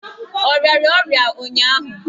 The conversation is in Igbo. Ọ rịara ọrịa ụnyụahụ?